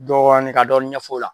Dɔɔni ka dɔɔni ɲɛf'o la